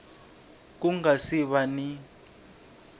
ku nga si va ni